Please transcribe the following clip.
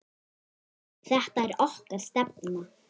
Þetta er okkar stefna.